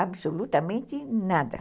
Absolutamente nada.